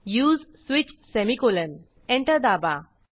उसे switch semicolon enter दाबा